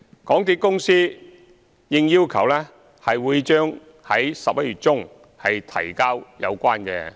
港鐵公司應要求，將在11月中提交有關報告。